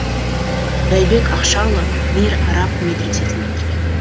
байбек ақшаұлы мир араб медресесін бітірген